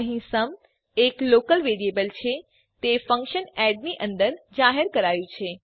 અહીં સુમ એક local variable છે તે ફંક્શન એડ ની અંદર જાહેર કરાયું છે